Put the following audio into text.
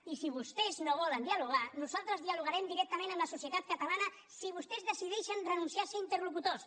i si vostès no volen dialogar nosaltres dialogarem directament amb la societat catalana si vostès decideixen renunciar a ser interlocutors